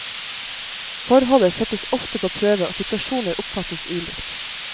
Forholdet settes ofte på prøve og situasjoner oppfattes ulikt.